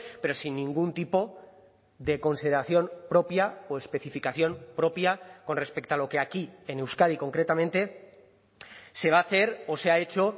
pero sin ningún tipo de consideración propia o especificación propia con respecto a lo que aquí en euskadi concretamente se va a hacer o se ha hecho